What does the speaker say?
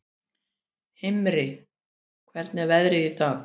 Himri, hvernig er veðrið í dag?